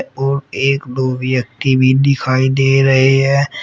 और एक दो व्यक्ति भी दिखाई दे रहे हैं।